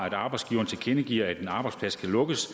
at arbejdsgiveren tilkendegiver at en arbejdsplads skal lukkes